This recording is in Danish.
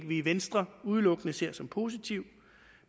vi i venstre udelukkende ser som positiv